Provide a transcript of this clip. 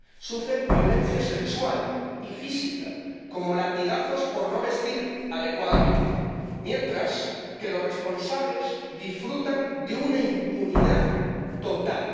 Sufren violencia sexual y física, como latigazos por no vestir adecuadamente, mientras que los responsables disfrutan de una impunidad total.